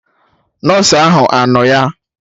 Nọsụ ahụ anọ ya?